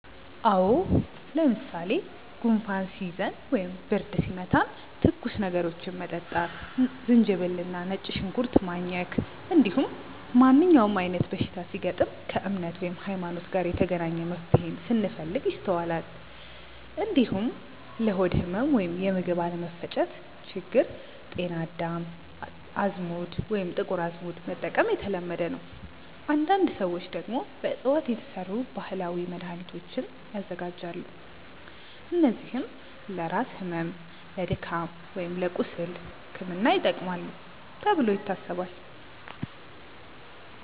አዎ። ለምሳሌ ጉንፋን ሲይዘን ወይም ብርድ ሲመታን ትኩስ ነገሮችን መጠጣት፣ ዝንጅብል እና ነጭ ሽንኩርት ማኘክ፣ እንዲሁም ማንኛውም አይነት በሽታ ሲገጥም ከእምነት (ሀይማኖት) ጋር የተገናኘ መፍትሄን ስንፈልግ ይስተዋላል። እንዲሁም ለሆድ ህመም ወይም የምግብ አለመፈጨት ችግር ጤና አዳም፣ አዝሙድ ወይም ጥቁር አዝሙድ መጠቀም የተለመደ ነው። አንዳንድ ሰዎች ደግሞ በእፅዋት የተሰሩ ባህላዊ መድሃኒቶችን ያዘጋጃሉ፣ እነዚህም ለራስ ህመም፣ ለድካም ወይም ለቁስል ሕክምና ይጠቅማሉ ተብሎ ይታሰባል።